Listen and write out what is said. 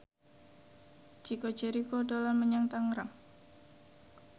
Chico Jericho dolan menyang Tangerang